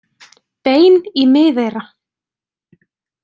Bein í miðeyra.